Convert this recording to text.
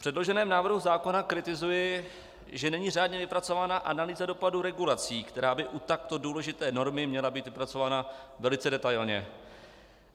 V předloženém návrhu zákona kritizuji, že není řádně vypracována analýza dopadu regulací, která by u takto důležité normy měla být vypracována velice detailně.